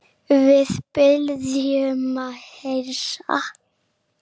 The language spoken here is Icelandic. Við biðjum að heilsa.